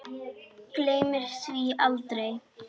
Gleymir því aldrei.